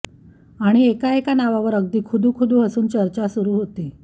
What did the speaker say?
आणि एका एका नावावर अगदी खुदुखदू हसून चर्चा सुरु होती